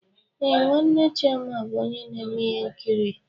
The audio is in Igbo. Ee, nwanne chioma bụ onye na-eme ihe nkiri.